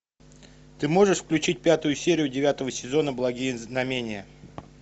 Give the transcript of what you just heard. ты можешь включить пятую серию девятого сезона благие знамения